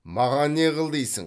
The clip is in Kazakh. маған не қыл дейсің